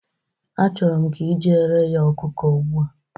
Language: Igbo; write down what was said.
Achọrọ m ka i jeere ya ọkụkọ ugbu a